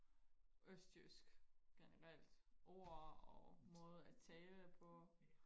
østjysk generelt ord og måder og tale på